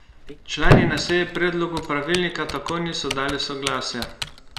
Člani na seji predlogu pravilnika tako niso dali soglasja.